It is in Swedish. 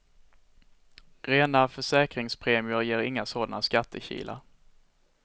Rena försäkrinsgpremier ger inga sådana skattekilar.